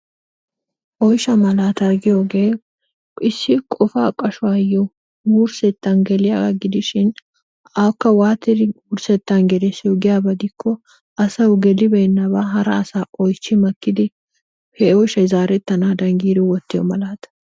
Oyshsha malataa giyooge issi qopa qashshuwayyo wurssettan geliyaaga gidishin akka waattidi wurssettan gelissiyo giyaaba gidikko asaw gelibeenabaa hara asaa oychchi maakkidi he oyshshay zaaretanadan giidi wottiyo malaata.